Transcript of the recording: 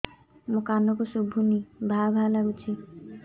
ମୋ କାନକୁ ଶୁଭୁନି ଭା ଭା ଲାଗୁଚି